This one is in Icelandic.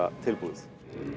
tilbúið